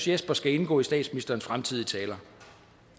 jesper skal indgå i statsministerens fremtidige taler